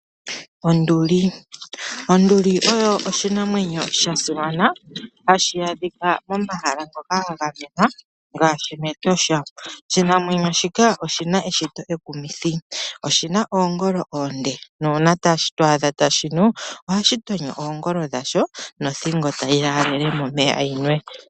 Onduli Onduli oyo oshinamwanyo sha simana hashi adhika momahala ngoka ga gamenwa ngaashi mEtosha. Oshinamwenyo shika oshina eshito ekumithi, oshina oongolo oonde, nuuna to adha tashi nu, ohashi tonyo oongolo dhasho nothing tayi yaalele momeya yinwe.